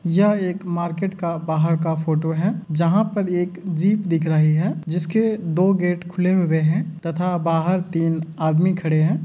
यह एक मार्केट का बाहर का फोटो है जहां पर एक जीप दिख रही है। जिसके दो गेट खुले हुए हैं तथा बाहर तीन आदमी खड़े हैं।